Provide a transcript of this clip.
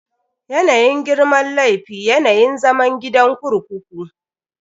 Yanayin girman laifi, yanayin zaman gidan kurkuku.